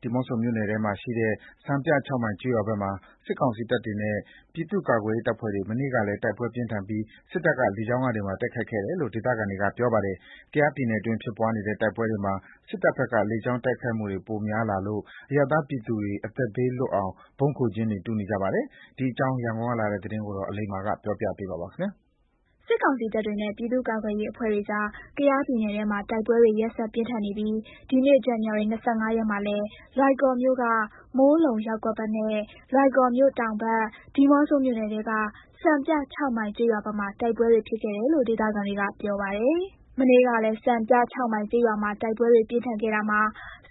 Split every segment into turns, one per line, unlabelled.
ဒီးမော့ဆိုမြို့နယ်ထဲမှာရှိတဲ့ စံပြ ၆ မိုင်ကျေးရွာဘက်မှာ စစ်ကောင်စီတပ်တွေနဲ့ ပြည်သူ့ကာကွယ်ရေးအဖွဲ့တွေမနေ့ကလည်း တိုက်ပွဲပြင်းထန်ပြီး စစ်တပ်က လေကြောင်းကနေပါ တိုက်ခိုက်ခဲ့တယ်လို့ ဒေသခံတွေကပြောပါတယ်။ ကယားပြည်နယ်တွင်းဖြစ်ပွားနေတဲ့ တိုက်ပွဲတွေမှာ စစ်တပ်ဘက်က လေကြောင်းတိုက်ခိုက်မှုတွေ ပိုများလာလို့ အရပ်သားပြည်သူတွေ အသက်ဘေးလွတ်အောင် ဗုံးခိုကျင်းတွေတူးနေကြပါတယ်။ ဒီအကြောင်း ရန်ကုန်ကပေးပို့တဲ့သတင်းကို အလိမ္မာပြောပြပါမယ်။
စစ်ကောင်စီတပ်တွေနဲ့ ပြည်သူ့ကာကွယ်ရေးအဖွဲ့တွေကြား ကယားပြည်နယ်ထဲမှည တိုက်ပွဲတွေ ရက်ဆက်ပြင်းထန်နေတာမှာ ဒီနေ့ ဇန်နဝါရီလ ၂၅ ရက်မှာလည်း လွိုင်ကော်မြို့က မိုးလုံရပ်ကွက်ဘက်မှာနဲ့ လွိုင်ကော်မြို့တောင်ဘက် ဒီးမော့ဆိုမြို့နယ်ထဲက စံပြ ၆ မိုင်ကျေးရွာဘက်မှာ တိုက်ပွဲတွေ ဖြစ်ခဲ့တယ်လို့ ဒေသခံတွေက ပြောပြပါတယ်။ မနေ့တုန်းကလည်း စံပြ ၆ မိုင်ကျေးရွာမှာ တိုက်ပွဲတွေပြင်းထန်ခဲ့တာမှာ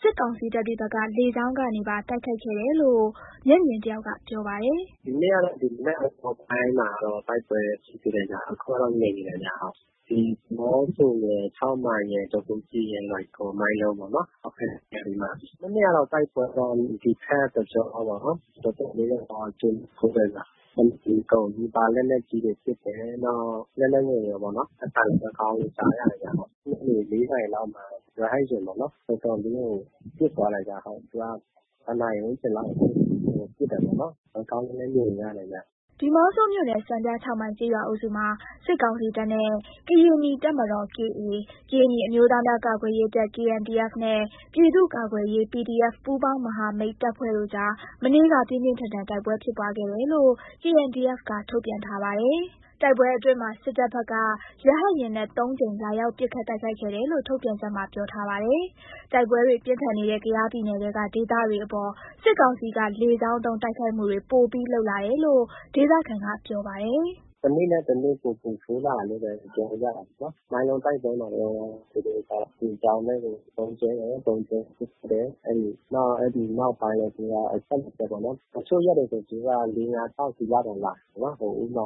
စစ်ကောင်စီတပ်တွေဘက်က လေကြောင်းကနေပါ တိုက်ခိုက်တယ်လို့ မျက်မြင်တယောက်က ပြောပြပါတယ်။
“ဒီနေ့ကတော့ ဒီမနက် အစောပိုင်းမှာ တိုက်ပွဲဖြစ်သေးတယ်ဗျ။ အခုတော့ ငြိမ်နေတယ်ဗျဟုတ်။ ဒီးမော့ဆိုရယ် ၆ မိုင်ရယ် ဒေါပိုးစီရယ် လွိုင်ကော် မိုင်းလုံပေါ့နော် ဟုတ်ကဲ့ အဲ့နေရာတွေမှာ။ မနေ့ကတော့ တိုက်ပွဲတော့ ဒီဖက်တကြောပေါ့နော်။ တော်တော်လေးဖြစ်သွားတယ်။ တနေ့ကုန်နီးပါး လက်နက်ကြီးတွေပစ်တယ်။ နောက်လက်နက်ငယ်ရောပေါ့နော်။ အသံတွေ ကောင်းကောင်းကြားရတယ်ဗျ ဟုတ်။ ညနေ ၄ နာရီမှာ ရဟတ်ယာဉ်ပေါ့နော်။ တော်တော်လေးကို ပစ်သွားတယ်ဗျ ဟုတ်။ သူက တစ်နာရီဝန်းကျင်လောက် ပစ်တာပေါ့နော်။ ကောင်းကောင်းနဲ့လည်း မြင်နေရတယ်ဗျ။”
ဒီးမော့ဆိုမြို့နယ် စံပြ ၆ မိုင်ကျေးရွာအုပ်စုမှာ စစ်ကောင်စီတပ်နဲ့ ကရင်နီတပ်မတော် KA၊ ကရင်နီအမျိုးသားများကာကွယ်ရေးတပ် KNDF နဲ့ ပြည်သူ့ကာကွယ်ရေး PDF ပူးပေါင်းမဟာမိတ်တပ်ဖွဲ့တို့ကြား မနေ့က ပြင်းပြင်းထန်ထန် တိုက်ပွဲဖြစ်ပွားခဲ့တယ်လို့ KNDF က ထုတ်ပြန်ထားပါတယ်။ တိုက်ပွဲအတွင်းမှာ စစ်တပ်ကဘက်က ရဟတ်ယာဉ်နဲ့ သုံးကြိမ် လာရောက် ပစ်ခတ်တိုက်ခိုက်ခဲ့တယ်လို့ ထုတ်ပြန်ချက်မှာ ပြောထားပါတယ်။ တိုက်ပွဲတွေပြင်းထန်နေတဲ့ ကယားပြည်နယ်ထဲက ဒေသတွေအပေါ် စစ်ကောင်စီက လေကြောင်းသုံး တိုက်ခိုက်မှုတွေ ပိုပြီးလုပ်လာတယ်လို့ ဒေသခံက ပြောပါတယ်။
“တနေ့ နဲ့ တနေ့ ပိုပိုဆိုးလာတယ်လို့ပဲ ပြောလို့ရတယ်ပေါ့နော်။ မိုင်းလုံတိုက်ပွဲမှာတုန်း သူတို့က လေကြောင်းနဲ့ ဗုံးကြဲတယ်။ ဗုံးကြဲပစ်ခတ်တယ်။ နောက် အဲ့နောက်ပိုင်းလည်း သူတို့က အဆက်မပျက်ပေါ့နော်။ တချို့ရက်တွေဆိုရင် သူတို့က ၄၊ ၅ ၊ ၆ စီးလောက်တော့ လာတယ်ပေါ့နော်။ ဥပမာ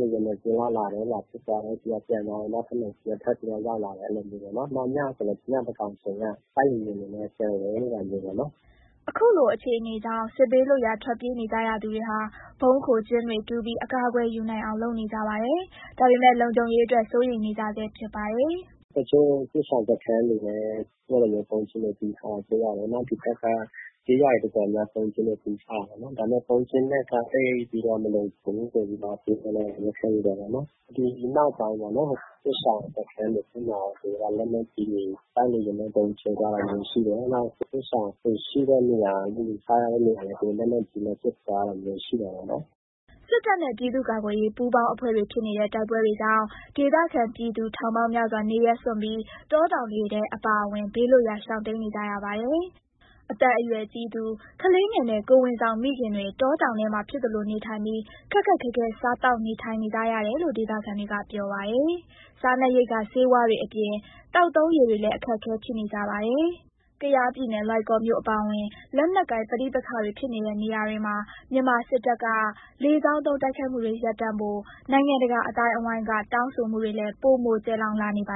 တိုက်လေယာဉ် နှစ်စီးလောက်လာတယ်။ လာပစ်သွားတယ်။ ပျံသွားတယ်။ နောက်ထပ် နှစ်စီးက ထပ်ပြီးတော့ ရောက်လာတယ် အဲ့လိုမျိုးပေါ့နော်။ ညဆိုလည်း ညသန်းကောင်ဆိုလည်း တိုက်လေယာဉ်နဲ့ပျံဝဲနေတာပေါ့နော်။
” အခုလိုအခြေအနေကြောင့် စစ်ဘေးလွတ်ရာ ထွက်ပြေးနေကြရသူတွေဟာ ဗုံးခိုကျင်းတွေ တူးပြီးအကာအကွယ်ယူနိုင်အောင် လုပ်နေကြပါတယ်။ ဒါပေမဲ့ လုံခြုံရေးအတွက် စိုးရိမ်နေကြဆဲဖြစ်ပါတယ်။
“တချို့စစ်ရှောင်စခန်းတွေလည်း ဗုံးကျင်းတွေ တူးထားတာတွေ့ရတယ်။ နောက်ဒီဖက်က ကျေးရွာတွေ တော်တော်များများ ဗုံးကျင်းတွေ တူးကြတယ်ပေါ့နော်။ ဒါပေမယ့် ဗုံးကျင်းနဲ့က သိပ်ပြီးတော့ မလုံခြုံဘူးပေါ့ဆိုပြီးတော့ ပြောကြတာပေါ့နော်။ ဒီနောက်ပိုင်းပေါ့နော်။ စစ်ရှောင်စခန်းတွေဘက်မှာ လက်နက်ကြီးတွေ တိုက်လေယာဉ်နဲ့ ဗုံးကြဲသွားတာမျိုး ရှိတယ်။ နောက် စစ်ရှောင်ရှိတဲ့နေရာ လှူထားတဲ့နေရာလေး လက်နက်ကြီးနဲ့ ပစ်သွားတာမျိုးရှိတာပေါ့နော်။
” စစ်တပ်နဲ့ ပြည်သူ့ကာကွယ်ရေး ပူးပေါင်းအဖွဲ့တွေဖြစ်နေတဲ့ တိုက်ပွဲတွေကြောင့် ဒေသခံ ပြည်သူထောင်ပေါင်းများစွာ နေရပ်စွန့်ပြီး တောတောင်တွေထဲအပါအဝင် ဘေးလွတ်ရာ ရှောင်တိမ်းနေကြရပါတယ်။ အသက်အရွယ်ကြီးသူ၊ ကလေးငယ်နဲ့ ကိုယ်ဝန်ဆောင်မိခင်တွေ တောတောင်ထဲမှာ ဖြစ်သလို နေထိုင်ပြီး ခက်ခက်ခဲခဲစား နေထိုင်စားသောက်နေကြရတယ်လို့ ဒေသခံတွေ ပြောပါတယ်။ စားနပ်ရိက္ခာ ဆေးဝါးတွေအပြင် သောက်သုံးရေလည်း အခက်အခဲဖြစ်နေကြပါတယ်။ ကယားပြည်နယ် လွိုင်ကော်မြို့အပါအဝင် လက်နက်ကိုင် ပဋိပက္ခဖြစ်နေတဲ့နေရာတွေမှာ မြန်မာစစ်တပ်က လေကြောင်းသုံး တိုက်ခိုက်မှုတွေ ရပ်တန့်ဖို့ နိုင်ငံတကာအသိုင်းအဝိုင်းက တောင်းဆိုမှုတွေလည်း ပိုမိုကျယ်လောင်လာနေပါ